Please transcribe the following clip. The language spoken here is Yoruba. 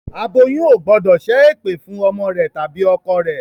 Aboyún ò gbọ́dọ̀ ṣẹ́ ẹ̀pẹ̀ fún ọmọ rẹ tàbí ọkọ rẹ